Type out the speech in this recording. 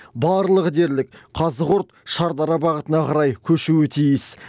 барлығы дерлік қазығұрт шардара бағытына қарай көшуі тиіс